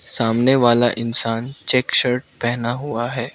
सामने वाला इंसान चेक शर्ट पहना हुआ है।